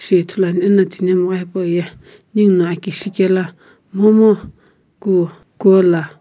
toi ithuluan ena thinhemgha hipauye ninguno aki shikela momu ku kuala--